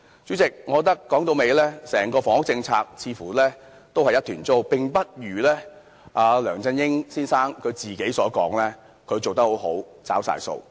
主席，我認為整套房屋政策都是一團糟，並不如梁振英先生自己所言，做得很好，已全部"找了數"。